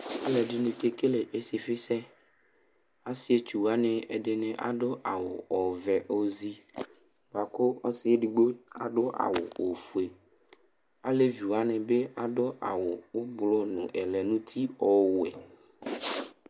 Alʋɛdɩnɩ kekele ɩsɩfɩsɛ Asɩetsu wanɩ, ɛdɩnɩ adʋ awʋ ɔvɛ ozi bʋa kʋ ɔsɩ edigbo adʋ awʋ ofue Alevi wanɩ bɩ adʋ awʋ ʋblʋ nʋ ɛlɛnʋti ɔwɛ